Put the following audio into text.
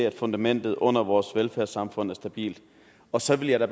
at fundamentet under vores velfærdssamfund er stabilt og så vil jeg da